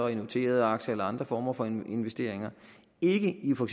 i noterede aktier eller andre former for investeringer ikke i for